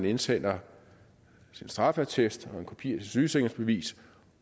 indsender sin straffeattest og en kopi af sit sygesikringsbevis